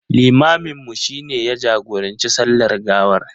Limaminmu shi ne ya jagoranci sallar gawar.